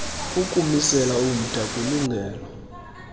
ukumisela umda kwilungelo